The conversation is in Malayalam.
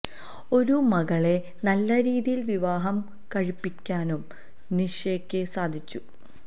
ഒരു മകളെ നല്ല രീതിയില് വിവാഹം കഴിപ്പിക്കാനും നിഷയ്ക്ക് സാധിച്ചു